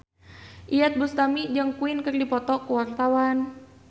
Iyeth Bustami jeung Queen keur dipoto ku wartawan